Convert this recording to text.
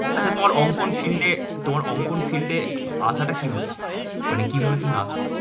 আর তোমার অঙ্কন field এ তোমার অঙ্কন field এ আসাতা কিভাবে? মানে কিভাবে তুমি আসো?